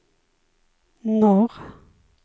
norr